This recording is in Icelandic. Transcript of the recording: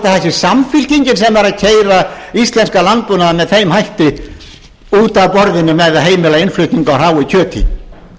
sé samfylkingin sem er að keyra íslenskan landbúnað með þeim hætti út af borðinu með því að heimila innflutning á hráu kjöti